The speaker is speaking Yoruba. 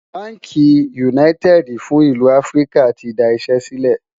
bánkì United fún ìlú áfríkà tí dá Iṣé sílè